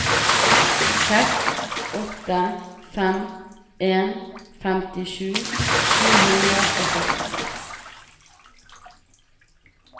seks åtte fem en femtisju sju hundre og førtiseks